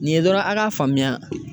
Nin ye dɔrɔn a ka faamuya